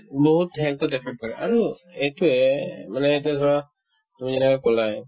বহুত কৰে আৰু এইটোয়ে মানে এতিয়া ধৰা তুমি এতিয়া কলাই